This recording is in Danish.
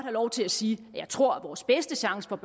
lov til at sige at jeg tror at vores bedste chance for